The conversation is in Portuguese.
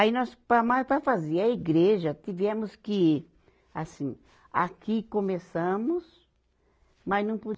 Aí, nós, para mas para fazer a igreja, tivemos que, assim, aqui começamos, mas não po